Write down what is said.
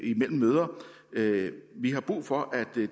imellem møder vi har brug for at